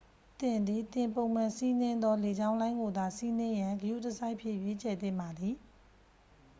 သင်သည် သင်ပုံမှန်စီးနင်းသောလေကြောင်းလိုင်းကိုသာ စီးနှင်ရန် ဂရုတစိုက်ဖြင့် ရွေးချယ်သင့်ပါသည်